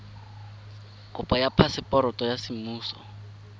kopo ya phaseporoto ya semmuso